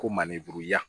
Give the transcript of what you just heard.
Ko mandenburuya